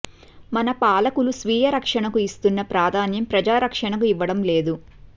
మన పాలకులు స్వీయ రక్షణకు ఇస్తున్న ప్రాధాన్యం ప్రజారక్షణకు ఇవ్వడం లేదు